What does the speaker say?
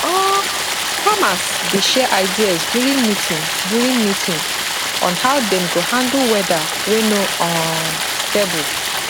um farmers dey share ideas during meeting during meeting on how dem go handle weather wey no um stable